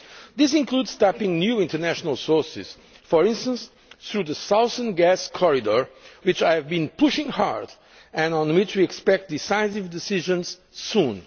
This includes tapping new international sources, for instance through the Southern Gas Corridor, which I have been pushing hard and on which we expect decisive decisions soon.